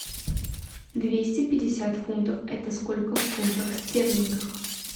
двести пятьдесят фунтов это сколько в фунтах стерлингах